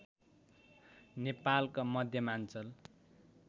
नेपालको मध्यमाञ्चल